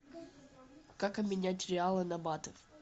как обменять реалы на баты